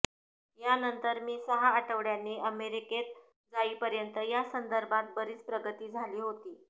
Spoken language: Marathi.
यानंतर मी सहा आठवड्यांनी अमेरिकेत जाईपर्यंत यासंदर्भात बरीच प्रगती झाली होती